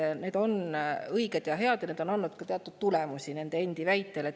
Need meetmed on õiged ja head ja nende endi väitel ka teatud tulemusi andnud.